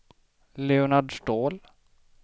Leonard Ståhl